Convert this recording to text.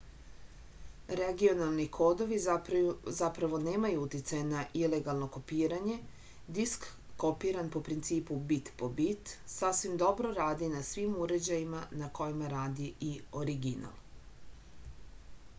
regionalni kodovi zapravo nemaju uticaja na ilegalno kopiranje disk kopiran po principu bit po bit sasvim dobro radi na svim uređajima na kojima radi i original